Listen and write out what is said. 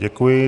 Děkuji.